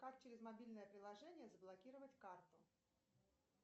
как через мобильное приложение заблокировать карту